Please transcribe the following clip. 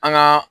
An ka